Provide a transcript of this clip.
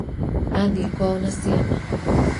athiĩ kwao na ciana